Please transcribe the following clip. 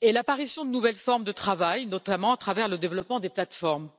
est l'apparition de nouvelles formes de travail, notamment à travers le développement des plateformes.